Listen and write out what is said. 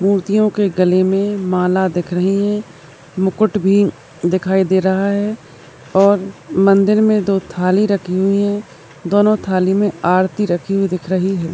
मूर्तिओं के गले मैं माला दिख रही है मुकुट भी दिखाई दे रहा है और मंदिर मैं दो थाली राखी हुई है दोनों थाली मैं आरती राखी हुई दिख रही है।